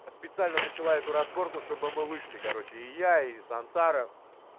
специально начала эту разборку чтобы мы вышли короче и я и сансара